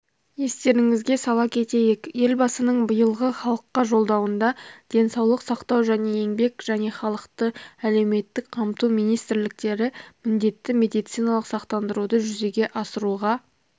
естеріңізге сала кетейік елбасының биылғы халыққа жолдауында денсаулық сақтау және еңбек және халықты әлеуметтік қамту министрліктері міндетті медициналық сақтандаруды жүзеге асыруға